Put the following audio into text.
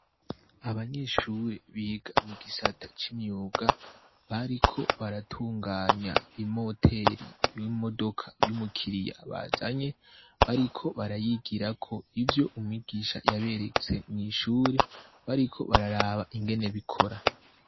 Abanyeshure biga mu gisata c'imyuga bariko baratunganya imoteri y'imodoka y'umukiriya bazanye bariko barayigirako ivyo umwigisha yaberetse mw'ishure bariko bararaba ingene bikora.